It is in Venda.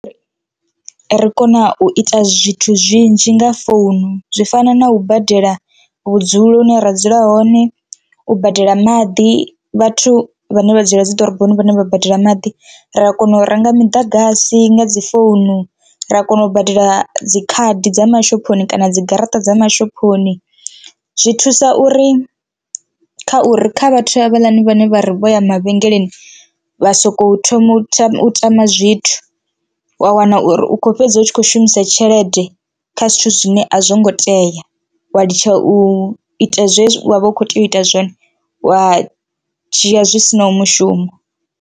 Ri kona u ita zwithu zwinzhi nga founu zwi fana na u badela vhudzulo hune ra dzula hone, u badela maḓi vhathu vhane vha dzula dzi ḓoroboni vhane vha badela maḓi, ra kona u renga miḓagasi nga dzi founu, ra kona u badela dzikhadi dza mashophoni kana dzi garaṱa dza mashophoni. Zwi thusa uri kha uri kha vhathu havhaḽani vhane vha ri vho ya mavhengeleni vha soko thoma u tou tama zwithu wa wana uri u kho fhedza u tshi kho shumisa tshelede kha zwithu zwine a zwo ngo tea wa litsha u ita zwezwi wa vha u kho tea u ita zwone wa dzhia zwi sinaho mushumo.